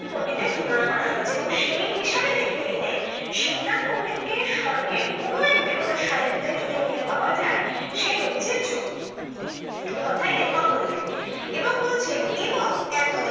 পন্ডিতের তুলনা করা হয়েছে এবং সেই হিসেবে দেখতে গেলে শিবনাথ পন্ডিতকে স্বর্গের কোন এক দেবতার সাথে যদি মিল পাওয়া যায় সে হচ্ছে জম এ কথাই লেখক বললেন এবং বলছেন এবং এতদিন